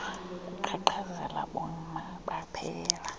kuqhaqhazela boma baphela